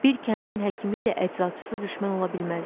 Bir kəndin həkimi ilə əczaçısı düşmən ola bilməzlər.